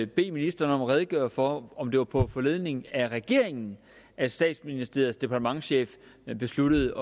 bede ministeren om at redegøre for om det var på foranledning af regeringen at statsministeriets departementschef besluttede